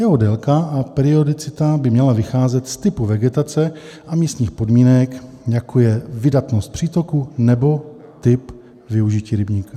Jeho délka a periodicita by měla vycházet z typu vegetace a místních podmínek, jako je vydatnost přítoku nebo typ využití rybníka.